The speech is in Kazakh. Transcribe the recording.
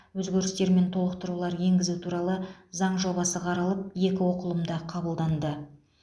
өзгерістер мен толықтырулар енгізу туралы заң жобасы қаралып екі оқылымда қабылданды